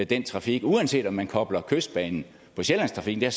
den trafik uanset om man kobler kystbanen på sjællandstrafikken eller